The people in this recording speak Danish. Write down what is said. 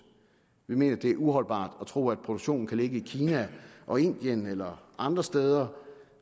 vi mener at det er uholdbart at tro at produktionen kan ligge i kina og indien eller andre steder